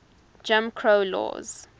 jim crow laws